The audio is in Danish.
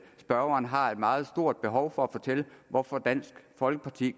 spørgeren har et meget stort behov for at fortælle hvorfor dansk folkeparti